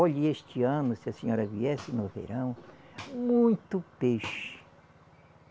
Olhe, este ano, se a senhora viesse no verão, muito peixe.